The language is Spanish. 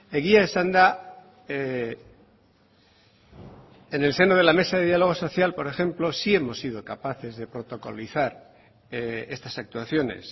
egia esanda en el seno de la mesa de diálogo social por ejemplo sí hemos sido capaces de protocolizar estas actuaciones